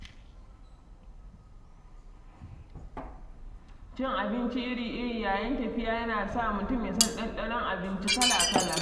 Cin abinci iri-iri yayin tafiya ya na sa mutum ya san ɗanɗanon abinci kala-kala.